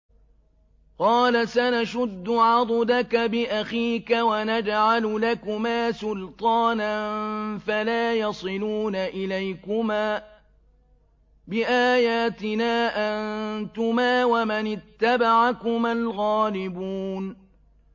قَالَ سَنَشُدُّ عَضُدَكَ بِأَخِيكَ وَنَجْعَلُ لَكُمَا سُلْطَانًا فَلَا يَصِلُونَ إِلَيْكُمَا ۚ بِآيَاتِنَا أَنتُمَا وَمَنِ اتَّبَعَكُمَا الْغَالِبُونَ